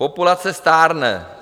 Populace stárne.